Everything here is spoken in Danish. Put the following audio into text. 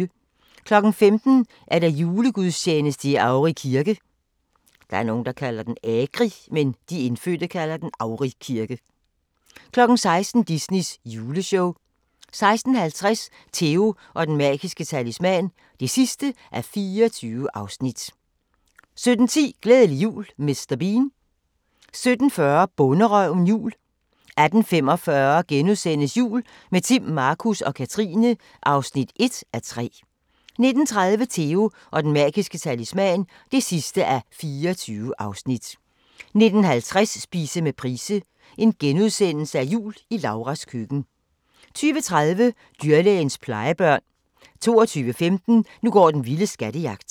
15:00: Julegudstjeneste i Agri kirke 16:00: Disneys juleshow 16:50: Theo & Den Magiske Talisman (24:24) 17:10: Glædelig jul Mr. Bean 17:40: Bonderøven – jul 18:45: Jul – med Timm, Markus og Katrine (1:3)* 19:30: Theo & Den Magiske Talisman (24:24) 19:50: Spise med Price – Jul i Lauras Køkken * 20:30: Dyrlægens plejebørn 22:15: Nu går den vilde skattejagt